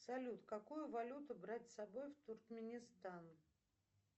салют какую валюту брать с собой в туркменистан